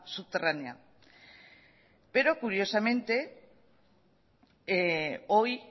subterránea pero curiosamente hoy